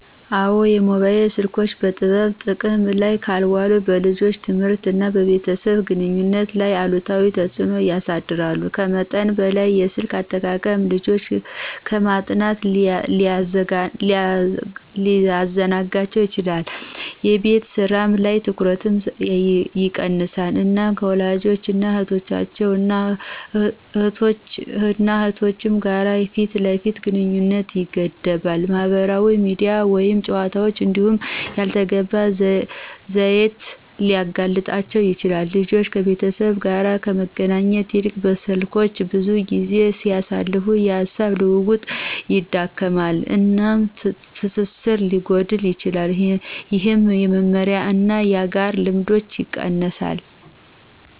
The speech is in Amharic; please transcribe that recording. አዎን, የሞባይል ስልኮች በጥበብ ጥቅም ላይ ካልዋሉ በልጆች ትምህርት እና በቤተሰብ ግንኙነት ላይ አሉታዊ ተጽእኖ ያሳድራሉ. ከመጠን በላይ የስልክ አጠቃቀም ልጆችን ከማጥናት ሊያዘናጋቸው ይችላል፣ የቤት ስራ ላይ ትኩረትን ይቀንሳል፣ እና ከወላጆች እና እህቶች እና እህቶች ጋር የፊት ለፊት ግንኙነትን ይገድባል። ማህበራዊ ሚዲያ ወይም ጨዋታዎች እንዲሁ ላልተገባ ይዘት ሊያጋልጣቸው ይችላል። ልጆች ከቤተሰብ ጋር ከመገናኘት ይልቅ በስልኮች ብዙ ጊዜ ሲያሳልፉ፣ የሐሳብ ልውውጥ ይዳከማል፣ እና ትስስር ሊጎዳ ይችላል፣ ይህም የመመሪያ እና የጋራ ልምዶችን ይቀንሳል።